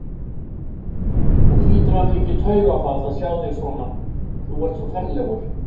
Hún hlýtur að hafa fengið taugaáfall að sjá þig svona, þú ert svo ferlegur!